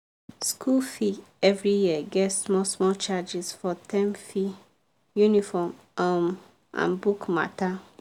school fee every year get small small charges for term fee uniform um and book matter.